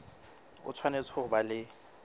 o tshwanetse ho ba le